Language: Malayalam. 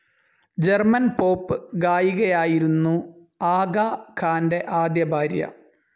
ജർമൻ പോപ്പ്‌ ഗായികയായിരുന്നു ആഗ ഖാൻ്റെ ആദ്യ ഭാര്യ.